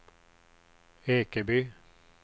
Ekeby